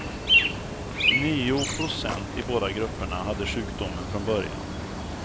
Nio procent i båda grupperna hade sjukdomen från början.